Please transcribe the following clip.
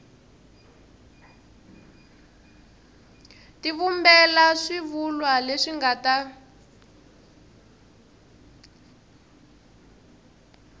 tivumbela swivulwa leswi nga ta